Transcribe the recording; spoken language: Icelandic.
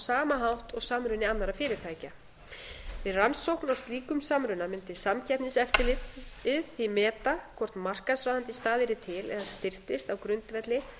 sama hátt og samruni annarra fyrirtækja við rannsókn á slíkum samruna mundi samkeppniseftirlitið því meta hvort markaðsráðandi staða yrði til eða styrktist á grundvelli